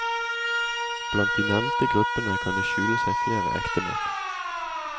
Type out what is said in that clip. Blant de nevnte gruppene kan det skjule seg flere ektemenn.